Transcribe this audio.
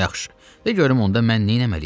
Yaxşı, de görüm onda mən neynəməliyəm.